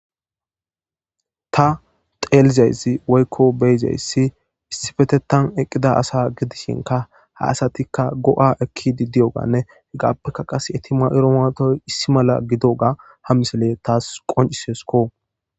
Ta xeelizayssi woykko beyizayssi issipetetan eqqida asa gidishinka ha asatikka go'a ekkidi diyoganne hegaappeka qase eeti mayido mayoti issi mala gidoga ha misile taas qonciseesikko.